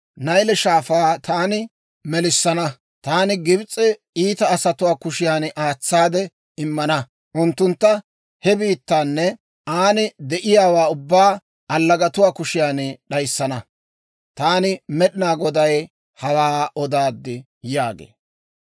Nayle Shaafaa taani melissana; taani Gibs'e iita asatuwaa kushiyan aatsaade immana; unttuntta, he biittaanne an de'iyaawaa ubbaa allagatuwaa kushiyaan d'ayissana. Taani Med'inaa Goday hawaa odaad» yaagee.